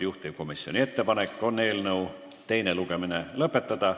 Juhtivkomisjoni ettepanek on eelnõu teine lugemine lõpetada.